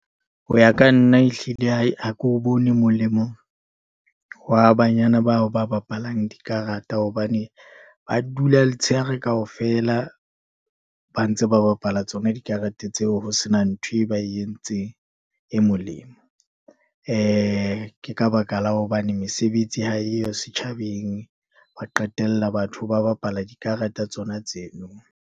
Ho ya ka nna ehlile ai, ha ke o bone molemo wa banyana bao ba bapalang dikarata, hobane ba dula letshehare kaofela ba ntse ba bapala tsona dikarete tseo, ho sena nthwe ba e entseng e molemo. Ke ka baka la hobane mesebetsi ha eyo setjhabeng, ba qetella batho ba bapala dikarata tsona tseno.